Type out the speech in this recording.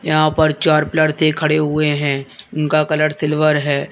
यहां पर चार पिलर दे खड़े हुए हैं उनका कलर सिल्वर है।